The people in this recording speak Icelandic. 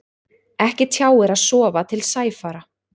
Ekki tjáir að sofa til sæfara.